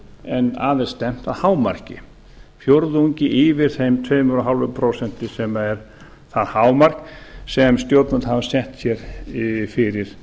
en að er stefnt að hámarki fjórðungi yfir þeim tveimur og hálft prósent sem er það hámark sem stjórnvöld hafa sett sér fyrir